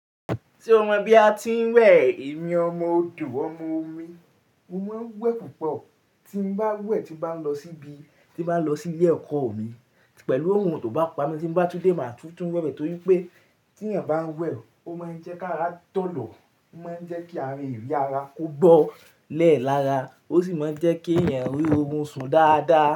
Tí o mọ bí a tí ń wẹ̀, èmi ọmọ odò, ọmọ omi, mo máa ń wẹ̀ púpọ̀. Tí mo bá wẹ̀, tí mo bá lọ síbi, tí mo bá lọ sí ilé ẹ̀kọ́ mi pẹ̀lú oorun tó bá pa mi, tí mo bá túndé, màá tún tún wẹ̀ bẹ́ẹ̀ torí pé tí ẹ̀yan bá ń wẹ̀, ó máa ń jẹ́ kí ara joọ̀lọ, ó máa ń jẹ́ kí àwon eri ara kó gbọ́ lẹ́ẹ̀ lára, ó sì máa ń jẹ́ kí ẹ̀eyan ri oorun sùn dáadáa.